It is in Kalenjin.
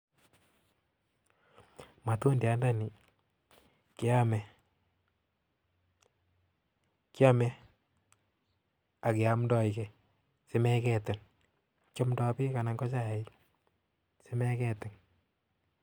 Matundianda nii keame kiame Ake amndai gii simegetin kiamndai peek Anan ko chaik simegetin